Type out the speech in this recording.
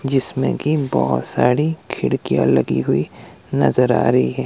जिसमें की बोहोत सारी खिड़कियां लगी हुई नजर आ रही है।